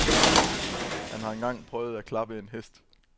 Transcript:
Han har engang prøvet at klappe en hest.